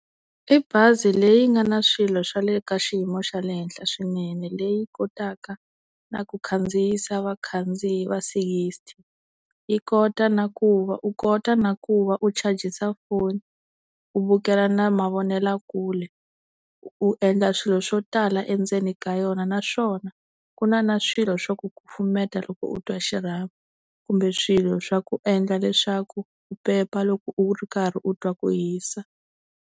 I bazi leyi nga na swilo swa le ka xiyimo xa le henhla swinene leyi kotaka na ku khandziyisa vakhandziyi va sixty yi kota na ku va u kota na ku va u chajisa foni u vukela na mavonelakule u endla swilo swo tala endzeni ka yona naswona ku na na swilo swa ku kufumeta loko u twa xirhami kumbe swilo swa ku endla leswaku u pepa loko u ri karhi u twa ku hisa.